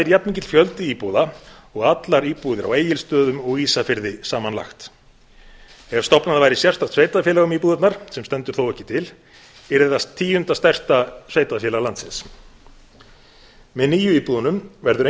jafnmikill fjöldi íbúða og allar íbúðir á egilsstöðum og ísafirði samanlagt ef stofnað væri sérstakt sveitarfélag um íbúðirnar sem stendur þó ekki til yrði það tíunda stærsta sveitarfélag landsins með nýju íbúðunum verður